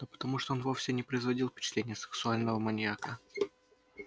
да потому что он вовсе не производил впечатления сексуального маньяка